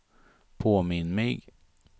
påminn mig